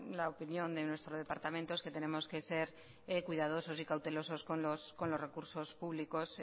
la opinión de nuestro departamento es que tenemos que ser cuidadosos y cautelosos con los recursos públicos